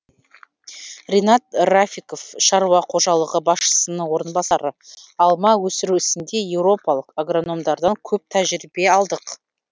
ринат рафиков шаруа қожалығы басшысының орынбасары алма өсіру ісінде еуропалық агрономдардан көп тәжірибе алдық